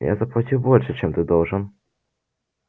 я заплатил больше чем был должен